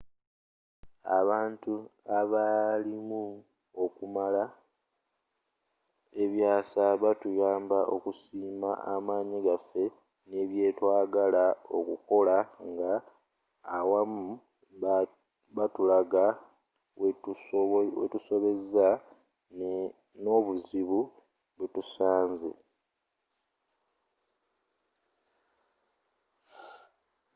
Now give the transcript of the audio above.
abantu abaalimu okumala ebyasa batuyamba okusiima amanyi gaffe n'ebyetwagala okola nga awamu batulaga wetusobezza n'obuzibu bwetusanze